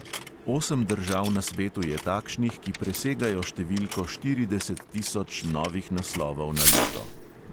Osem držav na svetu je takšnih, ki presegajo številko štirideset tisoč novih naslovov na leto.